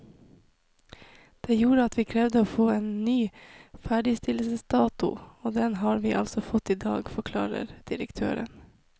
Det gjorde at vi krevde å få en ny ferdigstillelsesdato, og den har vi altså fått i dag, forklarer direktøren.